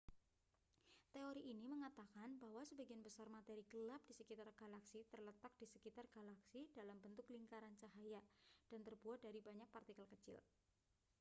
teori ini mengatakan bahwa sebagian besar materi gelap di sekitar galaksi terletak di sekitar galaksi dalam bentuk lingkaran cahaya dan terbuat dari banyak partikel kecil